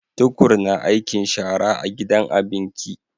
Tukur na aikin shara a gidan abinki